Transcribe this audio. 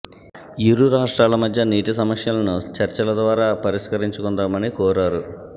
ఇరు రాష్ట్రాల మధ్య నీటి సమస్యలను చర్చల ద్వారా పరిష్కరించుకుందామని కోరారు